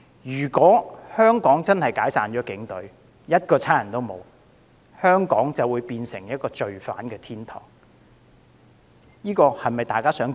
如果香港解散警隊，一個警察也沒有，香港便會淪為犯罪天堂，這是否大家樂見？